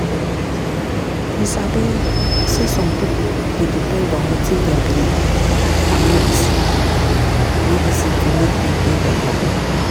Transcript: you sabi saysome pipu dey depend on wetin dem believe and medicine medicine to make dem dey beta.